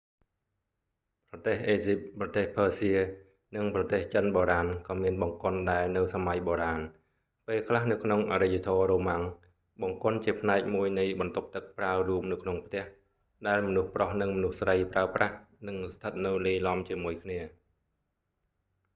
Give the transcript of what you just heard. ប្រទេសអេស៊ីប ប្រទេសភើសៀ និងប្រទេសចិនបូរាណក៏មានបង្គន់ដែរនៅសម័យបូរាណ ពេលខ្លះ នៅក្នុងអរិយធម៌រ៉ូម៉ាំង បង្គន់ជាផ្នែកមួយនៃបន្ទប់ទឹកប្រើរួមនៅក្នុងផ្ទះ ដែលមនុស្សប្រុសនិងមនុស្សស្រីប្រើប្រាស់ និងស្ថិតនៅលាយឡំជាមួយគ្នា